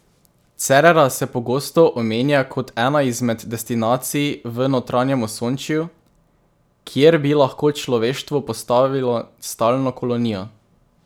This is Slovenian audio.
Cerera se pogosto omenja kot ena izmed destinacij v notranjem Osončju, kjer bi lahko človeštvo postavilo stalno kolonijo.